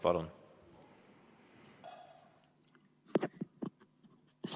Palun!